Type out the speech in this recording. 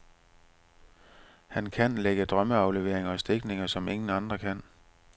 Han kan lægge drømmeafleveringer og stikninger, som ingen andre kan.